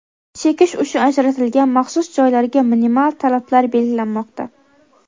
chekish uchun ajratilgan maxsus joylarga minimal talablar belgilanmoqda.